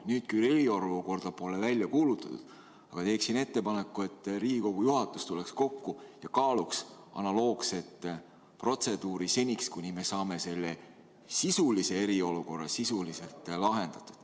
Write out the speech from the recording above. Nüüd küll eriolukorda pole välja kuulutatud, aga teeksin ettepaneku, et Riigikogu juhatus tuleks kokku ja kaaluks analoogset protseduuri seniks, kuni me saame selle sisulise eriolukorra sisuliselt lahendatud.